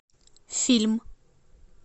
фильм